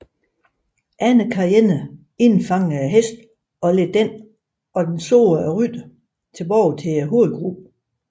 Andre cheyenner indfangede hesten og ledte den og dens sårede rytter tilbage til hovedgruppen